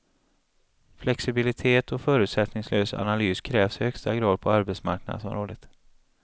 Flexibilitet och förutsättningslös analys krävs i högsta grad på arbetsmarknadsområdet.